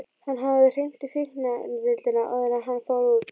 Hann hafði hringt í fíkniefnadeildina áður en hann fór út.